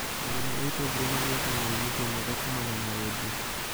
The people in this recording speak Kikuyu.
Arĩmi a itũngũrũ magĩaga umithio mwega kumana na wendia